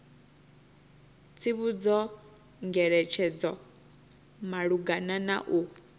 tsivhudzo ngeletshedzo malugana na u